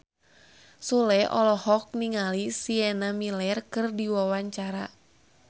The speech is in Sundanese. Sule olohok ningali Sienna Miller keur diwawancara